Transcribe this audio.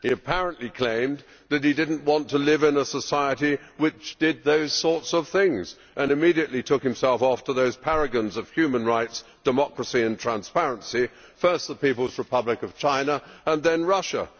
He apparently claimed that he did not want to live in a society which did those sorts of things and immediately took himself off to those paragons of human rights, democracy and transparency, first to the People's Republic of China and then Russia.